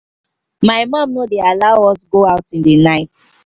my mum no dey allow us go out in the night